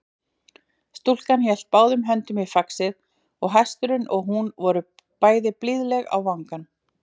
Stúlkan hélt báðum höndum í faxið og hesturinn og hún voru bæði blíðleg á vangann.